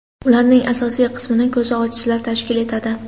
Ularning asosiy qismini ko‘zi ojizlar tashkil etadi.